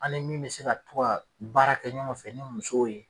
An ni min be se ka to ga baarakɛ ɲɔgɔn fɛ ni musow ye